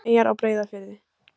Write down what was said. Svefneyjar á Breiðafirði.